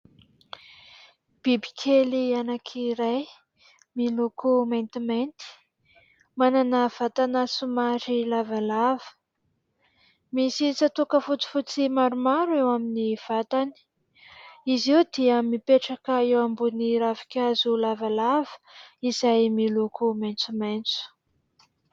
Bibikely anankiray miloko maintimainty manana vatana somary lavalava, misy tsatoka fotsifotsy maromaro eo amin'ny vatany, izy io dia mipetraka eo ambon'ny ravinkazo lavalava izay miloko maitsomaitso.